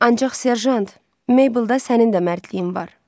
Ancaq serjant, Meyblda sənin də mərdliyin var.